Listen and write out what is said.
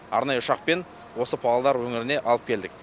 арнайы ұшақпен осы павлодар өңіріне алып келдік